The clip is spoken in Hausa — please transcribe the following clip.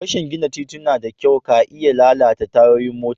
Rashi gina tituna da kyau ka iya lalata tayoyin mota.